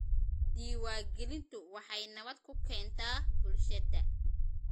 Diiwaangelintu waxay nabad ku keentaa bulshada.